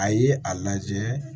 A ye a lajɛ